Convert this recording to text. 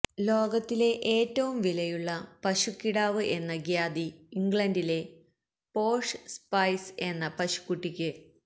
ലോകത്തിലെ ഏറ്റവും വിലയുള്ള പശുക്കിടാവ് എന്ന ഖ്യാതി ഇംഗ്ലണ്ടിലെ പോഷ് സ്പൈസ് എന്ന പശുക്കുട്ടിക്ക്